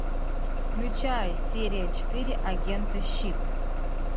включай серия четыре агенты щит